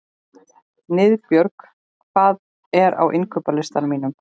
Niðbjörg, hvað er á innkaupalistanum mínum?